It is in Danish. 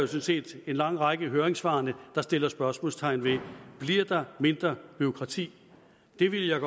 set en lang række af høringssvarene der sætter spørgsmålstegn ved bliver der mindre bureaukrati det ville jeg